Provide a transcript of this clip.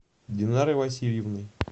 динарой васильевной